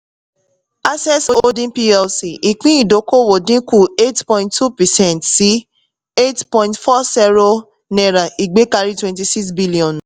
access holding plc ìpín ìdókòwò dínkù eight point two percent sí eight point four sero ìgbékari twenty-six billion